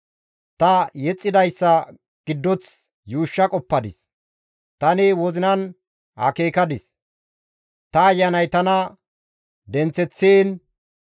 Ta yexxidayssa giddoth yuushsha qoppadis; tani wozinan akeekadis; ta ayanay tana denththeththiin,